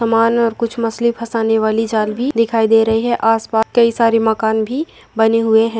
समान और कुछ मच्छली फसाने वालवी दिखाई दे रहे हैं। आस-पास कई सारे मकान भी बने हुए है।